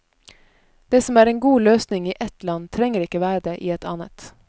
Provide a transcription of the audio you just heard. Det som er en god løsning i ett land, trenger ikke være det i et annet.